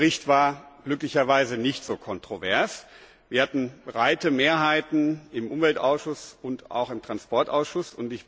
Der Bericht war glücklicherweise nicht so kontrovers. Wir hatten breite Mehrheiten im Umweltausschuss und auch im Verkehrsausschuss.